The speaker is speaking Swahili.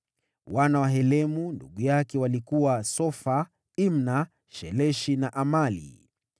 Wana wa Helemu ndugu yake walikuwa: Sofa, Imna, Sheleshi na Amali.